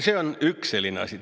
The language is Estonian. See on üks selline asi.